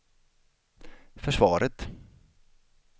försvaret